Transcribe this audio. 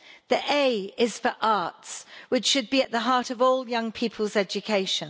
The A is for arts, which should be at the heart of all young people's education.